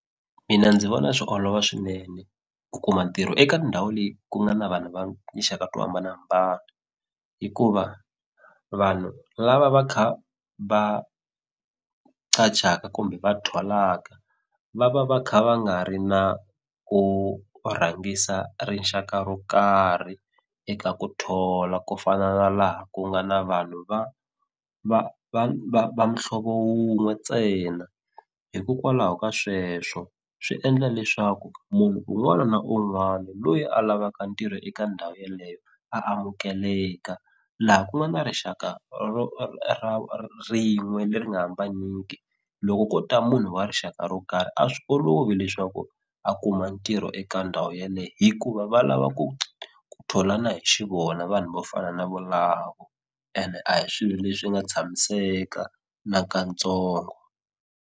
Mina ndzi vona swi olova swinene ku kuma ntirho eka ndhawu leyi ku nga na vanhu va tinxaka to hambanahambana hikuva vanhu lava va kha va qachaka kumbe va tholaka va va va kha va nga ri na ku rhangisa rixaka ro karhi eka ku thola ku fana na laha ku nga na vanhu va va va va muhlovo wun'we ntsena hikokwalaho ka sweswo swi endla leswaku munhu un'wana na un'wana loyi a lavaka ntirho eka ndhawu yeleyo a amukeleka laha ku nga na rixaka ro rin'we leri nga hambaniki loko ko ta munhu wa rixaka ro karhi a swi olovi leswaku a kuma ntirho eka ndhawu yaleyo hikuva va lava ku ku tholana hi xivona vanhu vo fana na volako ene a hi swilo leswi nga tshamiseka nakatsongo.